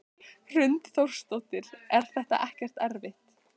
Hrund Þórsdóttir: Er þetta ekkert erfitt?